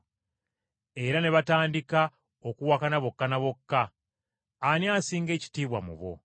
Era ne batandika okuwakana bokka ne bokka, ani asinga ekitiibwa mu bo?